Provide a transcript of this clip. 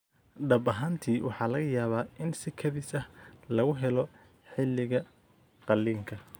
Dhab ahaantii, waxaa laga yaabaa in si kadis ah lagu helo xilliga qalliinka.